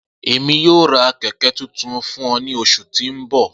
Emi yoo ra kẹkẹ tuntun fun ọ ni oṣu ti n bọ.